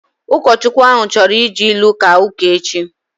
Ụkọchukwu ahu chọrọ iji ilu kaa ụka echi